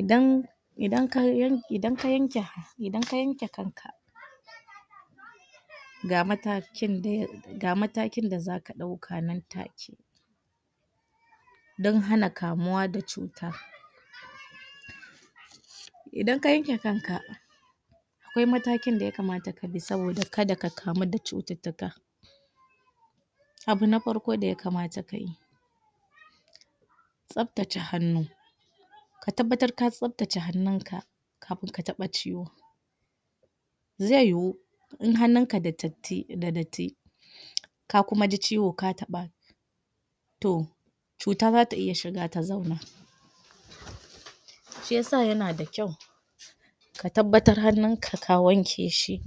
idan idan ka yanke kanka ga matakin da zaka ɗauka nan take dan hana kamuwa da cuta idan ka yanke kanka akwai matakin da ya kamata kabi saboda karka kamu da cututtuka abu na farko da ya kamata kayi tsaftace hannu kafin ka taɓa ciwan zai yuwo in hannunka da datti ka kuma ji ciwo ka taɓa to cuta zata iya shiga ta zauna shiya sa yana da kyau ka tabbatar hannunka ka wanke shi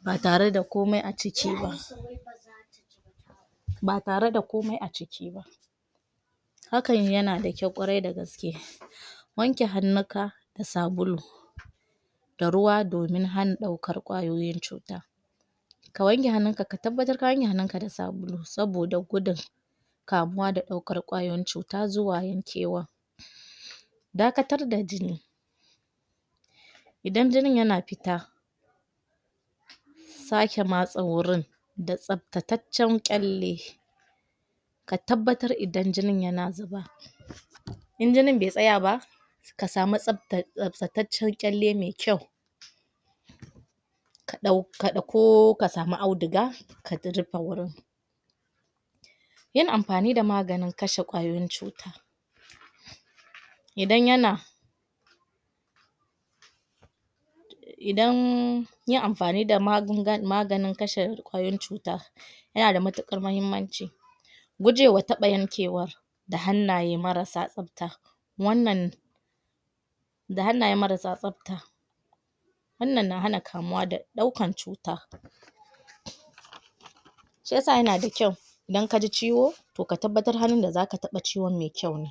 ba tare da komai a ciki ba ba tare da komai a ciki ba hakan yana da kyau ƙwarai da gaske wanke hannunka da sabulu da ruwa domin hana ɗaukar ƙwayoyin cuta ka wanke hannunka ka tabbatar ka wanke hannunka da sabulu saboda gudun kamuwa da ɗaukar ƙayoyin cuta zuwa yankewa dakatar da jini idan jini yana fita saƙe matsi wurin da tsaftacaccan ƙyalle ka tabbatar idan jinin yana zuba in jinin be tsaya ba kasamu tsaftatatcan ƙalle me kyau ko kasamu audiga ka rufin gurin yin amfani da maganin kashe ƙwayoyin cuta idan yana idan yin amfani da maganin kashe ƙwayoyin cuta yana da matuƙar mahimmanci gujewa taɓa yankewar da hannaye mara sa tsafta wannan da hannaye marasa tsafta wannan na hana kamuwa da ɗaukan cuta shiyasa yana da kyau idan kaji ciwo to ka tabbatar hannun da zaka taɓa ciwan me kyau ne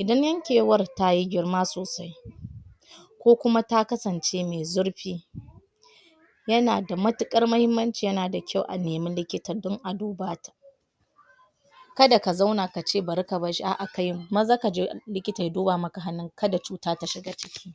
idan yankewar tayi girma sosai ko kuma ta kasanci me zurfi yana da matuƙar mahimmanci yana da kyau a neme likita dan a duba ta ka da ka zauna kace bari ka barshi a'a kayi maza kaje likita ya duba maka hannunka ka da cuta ta shiga ciki